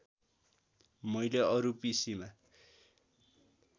मैले अरू पिसिमा